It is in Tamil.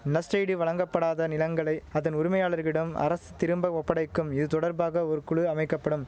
நஷ்ட ஈடு வழங்கப்படாத நிலங்களை அதன் உரிமையாளர்களிடம் அரசு திரும்ப ஒப்படைக்கும் இது தொடர்பாக ஒரு குழு அமைக்க படும்